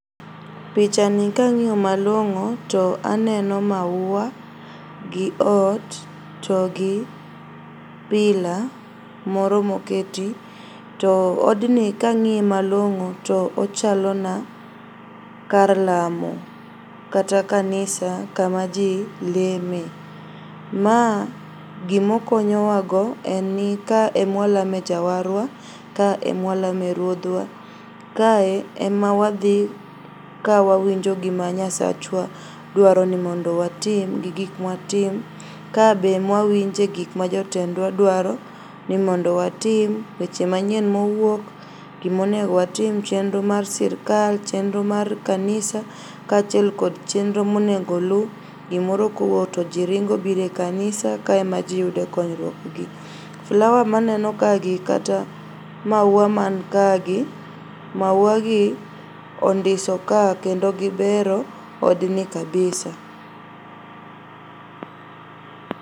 Pichani kang'iyo malong'o to aneno maua gi ot to gi pillar moro moketi. To odni kang'iye malong'o to ochalona kar lamo kata kanisa kama jii leme. Maa gimokonyowago enni ka emwalame jawarwa, ka emwalame ruodhwa, kae emawadhi kawawinjo gima Nyasachwa dwaro ni mondo watim gi gik mwatim. Ka be mwawinje gik ma jotendwa dwaro nimondo watim weche manyien mowuok, gimonego watim, chenro mar sirkal, chenro mar kanisa kachiel kod chenro monego oluu. Gimoro kowuok tojiringo bire kanisa, ka ema jii yude konyruokgi. Flower maneno kagi kata maua man kagi, mauagi ondiso ka kendo gibero odni kabisa.